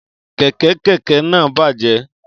Kẹ̀kẹ́ kẹ̀kẹ́ náà bàjẹ́